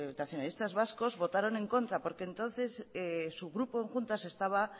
nacionalistas vascos votaron en contra porque entonces su grupo en juntas estaba